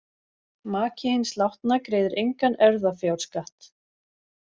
Maki hins látna greiðir engan erfðafjárskatt.